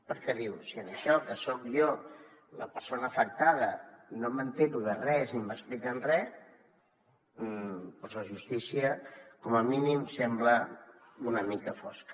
perquè diu si en això que soc jo la persona afectada no m’assabento de res ni m’expliquen res la justícia com a mínim sembla una mica fosca